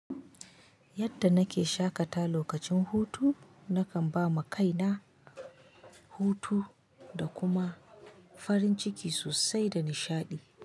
Yadda nake shakata lokacin hutu nakan ba ma kaina hutu da kuma farin ciki sosai da nishaɗi.